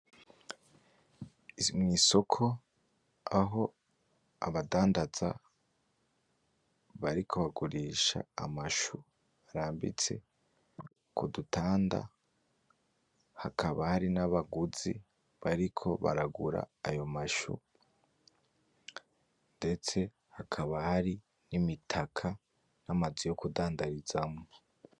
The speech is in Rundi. Mwisoko aho abadandaza bariko bagurisha amashu arambitse kudutanda hakaba hari nabaguzi bariko baragura ayo mashu, ndetse hakaba hari imitaka namazu yo kudandarizamwo